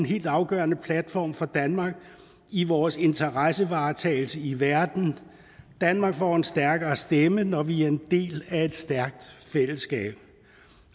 helt afgørende platform for danmark i vores interessevaretagelse i verden danmark får en stærkere stemme når vi er en del af et stærkt fællesskab